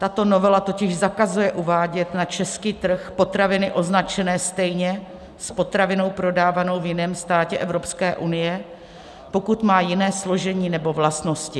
Tato novela totiž zakazuje uvádět na český trh potraviny označené stejně s potravinou prodávanou v jiném státě Evropské unie, pokud má jiné složení nebo vlastnosti.